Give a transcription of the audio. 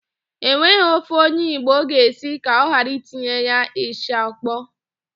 E nweghị ofe onye Igbo ga-esi ka ọ ghara itinye ya ịsha ọkpọọ.